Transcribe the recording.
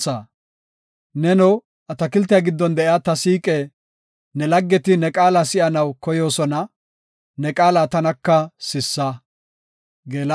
Neno, atakiltiya giddon de7iya ta siiqe, ne laggeti ne qaala si7anaw koyoosona; ne qaala tanaka sissa.